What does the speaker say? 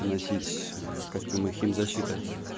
носить костюмы химзащиты